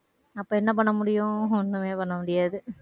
அப்ப என்ன பண்ண முடியும் ஒண்ணுமே பண்ண முடியாது.